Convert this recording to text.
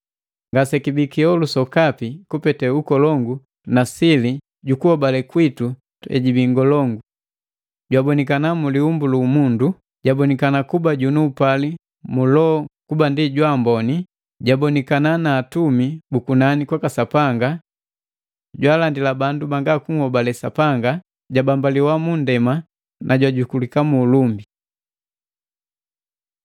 Ngasekibii kiholu sokapi kupete ukolongu na sili ju kuhobale kwitu hejibii ngolongu. Jabonikana mu liumbu lu umundu, jabonikana kuba junu upali mu Loho kuba ndi jwaamboni, jabonikana na atumi bu kunani kwaka Sapanga. Jaalandila bandu banga kuhobale Sapanga, jabombaliwa nu undema, jajukulika mu ulumbi.